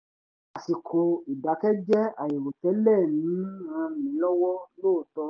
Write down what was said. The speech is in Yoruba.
àsìkò ìdákẹ́jẹ́ àìrò tẹ́lẹ̀ ń ràn mí lọ́wọ́ lóòótọ́